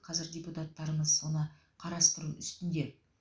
қазір депутаттарымыз соны қарастыру үстінде